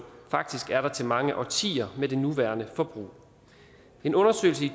faktisk er der til mange årtier med det nuværende forbrug en undersøgelse i